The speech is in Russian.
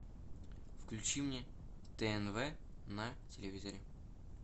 включи мне тнв на телевизоре